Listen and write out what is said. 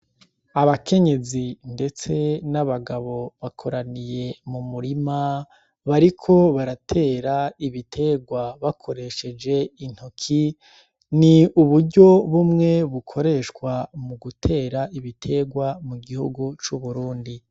Abakenyezi ndetse n'abagabo bakoraniye mu murima, bariko baratera ibiterwa bakoresheje intoki. Ni uburyo bumwe bukoreshwa mu gutera ibiterwa mu gihugu c'uburundi.